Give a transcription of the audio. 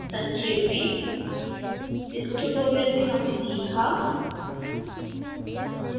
संक्षेप में इस ट्यूटोरियल में हमने सीखाः